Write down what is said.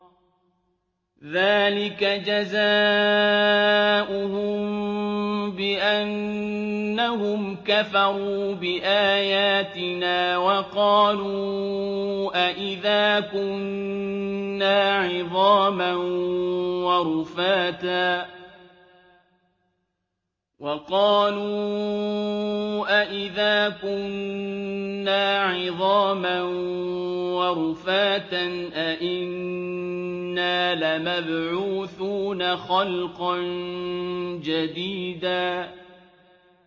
ذَٰلِكَ جَزَاؤُهُم بِأَنَّهُمْ كَفَرُوا بِآيَاتِنَا وَقَالُوا أَإِذَا كُنَّا عِظَامًا وَرُفَاتًا أَإِنَّا لَمَبْعُوثُونَ خَلْقًا جَدِيدًا